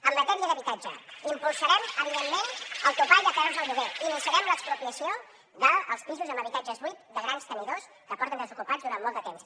en matèria d’habitatge impulsarem evidentment el topall de preus del lloguer i iniciarem l’expropiació dels pisos amb habitatges buits de grans tenidors que porten desocupats durant molt de temps